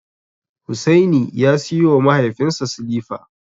Hussaini ya siyowa mahaifinsa silifa.